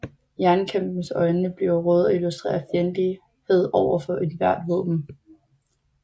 Jernkæmpens øjne bliver røde og illustrerer fjendtlighed overfor ethvert våben